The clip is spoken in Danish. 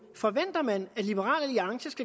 folk kan